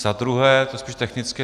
Za druhé, to je spíš technické.